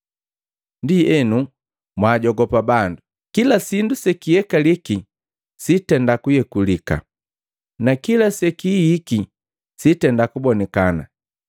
“Ndienu, mwaajogopa bandu. Kila sindu sekiyekaliki sitenda kuyekulika, na kila sekihikiki sitenda kubonikana.